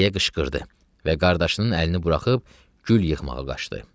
deyə qışqırdı və qardaşının əlini buraxıb gül yığmağa qaçdı.